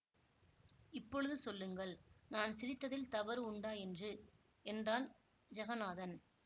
இப்பொழுது சொல்லுங்கள் நான் சிரித்ததில் தவறு உண்டா என்று என்றான் ஜகந்நாதன்